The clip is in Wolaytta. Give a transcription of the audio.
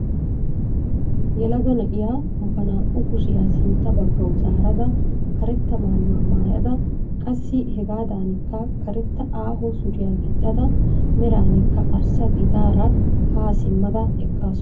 yelaga na'iyaa ba naa"u kushshiyaa sintta baggawu zaarada karetta mayuwaa maayada qassi hegaadanikka karetta aaho suriyaa giixxada meranikka arssa gidaara haa simma eqqasu.